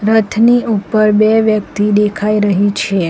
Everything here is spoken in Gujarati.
રથની ઉપર બે વ્યક્તિ દેખાઈ રહી છે.